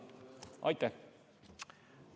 Aitäh!